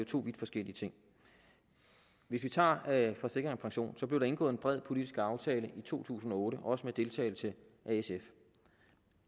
to vidt forskellige ting hvis vi tager forsikring pension blev der indgået en bred politisk aftale i to tusind og otte også med deltagelse af sf